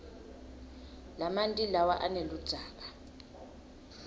lamanti lawa aneludzaka